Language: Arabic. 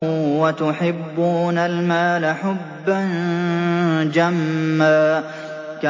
وَتُحِبُّونَ الْمَالَ حُبًّا جَمًّا